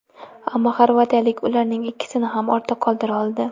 Ammo xorvatiyalik ularning ikkisini ham ortda qoldira oldi.